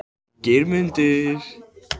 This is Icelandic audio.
Geirmundur